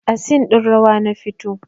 A scene ɗin rawa na fito